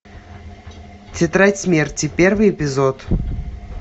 тетрадь смерти первый эпизод